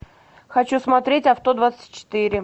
хочу смотреть авто двадцать четыре